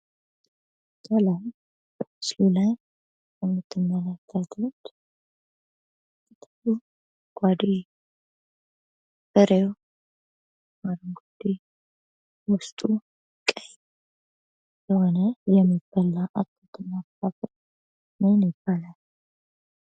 ሰላም በምስሉ ላይ የምትመለከቱት ቅጠሉ አረንጓዴ፣ ፍሬው አረንጓዴ ውስጡ ቀይ የሆነ የሚበላ አትክልት እና ፍራፍሬ ምን ይባላል ?